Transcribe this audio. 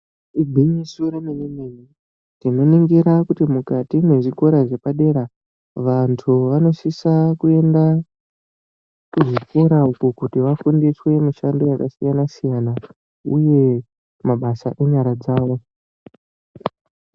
Igwinyiso remene mene tinoningira kuti mukati mwezikora zvepadera Vantu vanosida kuenda kuzvikora uku kuti vafundiswe mishando yakasiyana siyana uye mabasa enyara dzawo.